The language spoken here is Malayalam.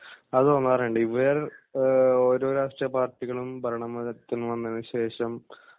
അത് തോന്നാറുണ്ട് ഇവർ ഏഹ് ഓരോ രാഷ്ട്രീയ പാർട്ടികളും ഭരണ ത്തിൽ വന്നതിനുശേഷം